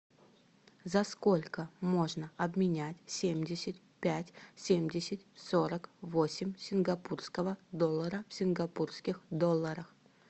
за сколько можно обменять семьдесят пять семьдесят сорок восемь сингапурского доллара в сингапурских долларах